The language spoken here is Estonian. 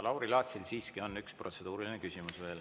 Lauri Laatsil siiski on veel üks protseduuriline küsimus.